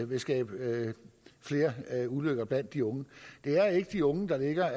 vil skabe flere ulykker blandt de unge det er ikke de unge der